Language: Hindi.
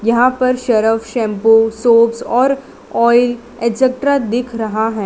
यहां पर सर्फ शैंपू शॉप्स और ऑयल एक्स्ट्रा दिख रहा है।